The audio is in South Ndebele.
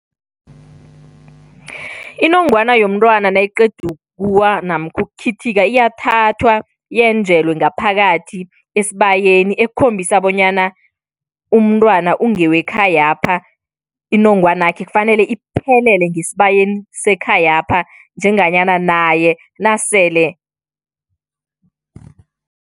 Inongwana yomntwana nayiqeda ukuwa namkha ukukhithika iyathathwa yenjelwe ngaphakathi esibayeni ekukhombisa bonyana umntwana ungewekhayapha, inongwana yakhe kufanele iphelele ngesibayeni sekhayapha njenganyana naye nasele